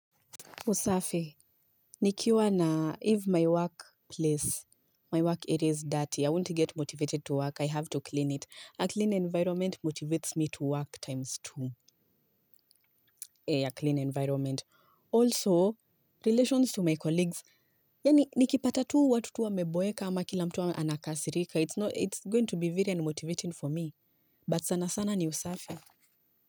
Usafi, nikiwa na if my work place, my work area is dirty, I won't get motivated to work, I have to clean it. A clean environment motivates me to work times two, a clean environment. Also, relations to my colleagues, yani nikipata tu watu tu wa meboeka ama kila mtu wa anakasirika, it's going to be very unmotivating for me. But sana sana ni usafi.